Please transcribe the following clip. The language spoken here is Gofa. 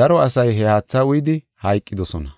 daro asay he haatha uyidi hayqidosona.